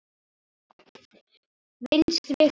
Vinstri hvað?